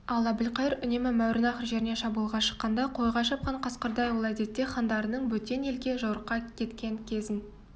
ал әбілқайыр үнемі мауреннахр жеріне шабуылға шыққанда қойға шапқан қасқырдай ол әдетте хандарының бөтен елге жорыққа кеткен кезін